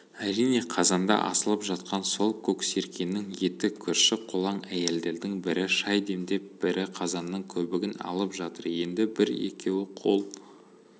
әрине қазанда асылып жатқан сол көксеркенің еті көрші-қолаң әйелдердің бірі шай демдеп бірі қазанның көбігін алып жатыр енді бір-екеуі қол